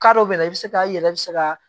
dɔw bɛ na i bɛ se ka i yɛrɛ bɛ se ka